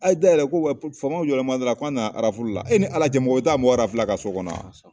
A ye da yɛrɛ ko faamaw jɔlen bɛ da la ko an nana e ni ala cɛ mɔgɔ be taa mɔgɔ a ka so kɔnɔ wa?